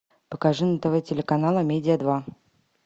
покажи на тв телеканал амедия два